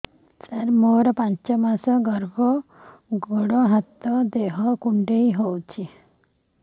ସାର ମୋର ପାଞ୍ଚ ମାସ ଗର୍ଭ ଗୋଡ ହାତ ଦେହ କୁଣ୍ଡେଇ ହେଉଛି